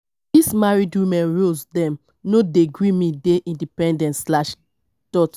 dese married woman roles dem no dey gree me dey independent.